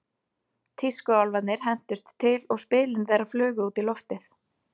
Tískuálfarnir hentust til og spilin þeirra flugu út í loftið.